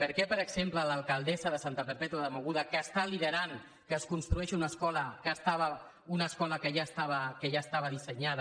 per què per exemple a l’alcaldessa de santa perpètua de mogoda que està liderant que es construeixi una escola que ja estava dissenyada